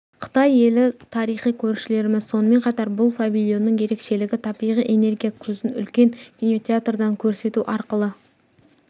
қытай елі тарихи көршілеріміз сонымен қатар бұл павильонның ерекшелігі табиғи энергия көзін үлкен кинотеатрдан көрсету арқылы